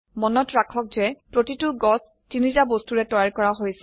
মনত ৰাখক যে প্ৰতিটো গাছ তিনিটা বস্তুৰে তৈয়াৰ কৰা হৈছে